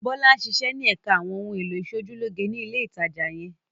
Bólú ń ṣiṣẹ́ ní ẹ̀ka àwọn ohun-èlò ìṣojúlóge ní ilé-ìtajà yẹn.